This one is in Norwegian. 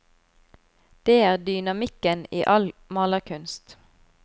Det er dynamikken i all malerkunst.